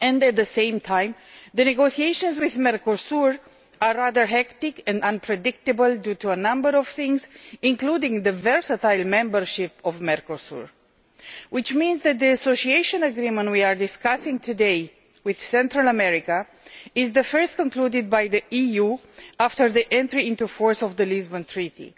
At the same time, the negotiations with Mercosur are rather hectic and unpredictable due to a number of things, including the versatile membership of Mercosur, which means that the Association Agreement we are discussing today with Central America is the first concluded by the EU after the entry into force of the Lisbon Treaty.